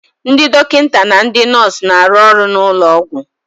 Ndị dọkịta na ndị nọọsu na-arụ ọrụ n'ụlọ ọgwụ